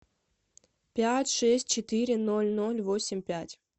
пять шесть четыре ноль ноль восемь пять